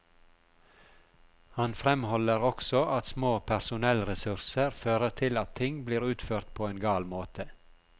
Han fremholder også at små personellressurser fører til at ting blir utført på en gal måte.